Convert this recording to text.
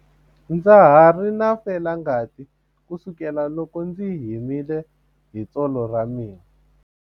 Ndza ha ri na felangati kusukela loko ndzi himile hi tsolo ra mina.